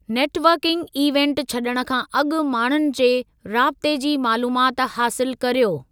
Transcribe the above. Net working event छॾण खां अॻु माण्हुनि जे राब्ते जी मालूमात हासिलु करियो।